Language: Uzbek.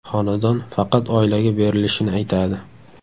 Xonadon faqat oilaga berilishini aytadi.